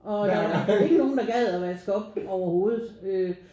Og der var ikke nogen der gad og vaske op overhovedet øh